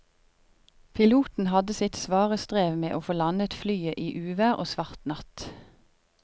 Piloten hadde sitt svare strev med å få landet flyet i uvær og svart natt.